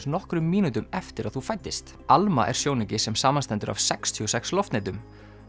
nokkrum mínútum eftir að þú fæddist ALMA er sjónauki sem samanstendur af sextíu og sex loftnetum